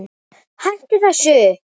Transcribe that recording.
HÆTTU ÞESSU!